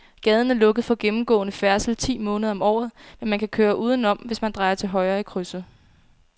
Gaden er lukket for gennemgående færdsel ti måneder om året, men man kan køre udenom, hvis man drejer til højre i krydset.